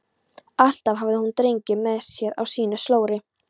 Alltaf hafði hún drenginn með sér á sínu slóri.